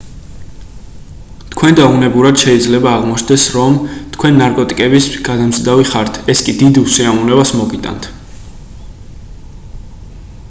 თქვენდა უნებურად შეიძლება აღმოჩნდეს რომ თქვენ ნარკოტიკების გადამზიდავი ხართ ეს კი დიდ უსიამოვნებას მოგიტანთ